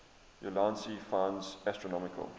ulansey finds astronomical